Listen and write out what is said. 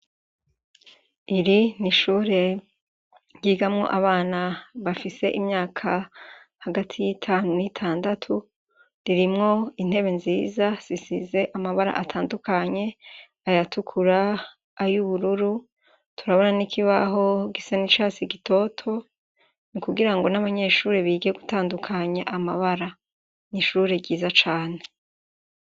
Iri n'ishure ryigamwo abana bafise imyaka hagati y'itanu n'itandatu, ririmwo intebe nziza zisize amabara atandukanye, ayatukura, ayubururu, turabona n'ikibaho gisa n'icatsi gitoto ni kugira ngo n'abanyeshure bige gutandukanya amabara, n'ishure ryiza cane.